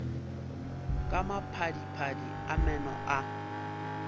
ka maphadiphadi a meno a